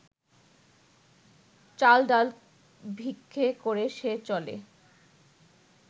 চাল ডাল ভিক্ষে করে সে চলে